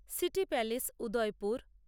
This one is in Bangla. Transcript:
city palace Udaipur